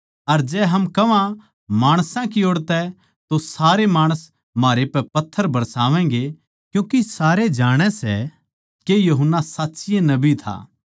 अर जै हम कह्वां माणसां की ओड़ तो सारे माणस म्हारै पै पत्थर बरसावैगें क्यूँके सारे जाणै सै के यूहन्ना साच्चीये नबी था